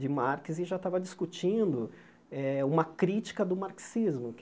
de Marx e já estava discutindo eh uma crítica do marxismo.